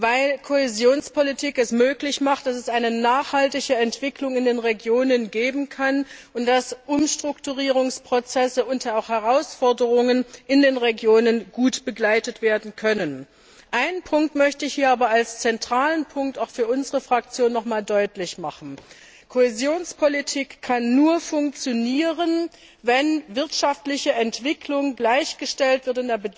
weil Kohäsionspolitik es möglich macht, dass es eine nachhaltige Entwicklung in den Regionen geben kann und dass Umstrukturierungsprozesse und auch Herausforderungen in den Regionen gut begleitet werden können. Einen Punkt möchte ich hier aber als zentralen Punkt auch für unsere Fraktion noch einmal deutlich machen Kohäsionspolitik kann nur funktionieren, wenn wirtschaftliche Entwicklung in der Bedeutung gleichgestellt wird